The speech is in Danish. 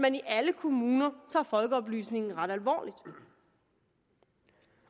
alle kommuner tager folkeoplysningen ret alvorligt